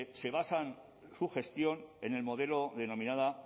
se basa su gestión en el modelo denominado